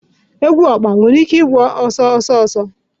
Egwu ọkpa nwere ike ịgba ọsọ ọsọ?